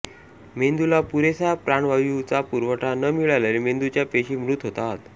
मेंदूला पुरेसा प्राणवायू चा पुरवठा न मिळाल्याने मेंदूच्या पेशी मृत होतात